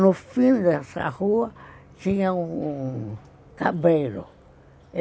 No fim dessa rua tinha um cabreiro.